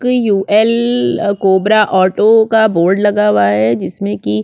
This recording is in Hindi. कयूएल कोबरा ऑटो का बोर्ड लगा हुआ है जिसमें की --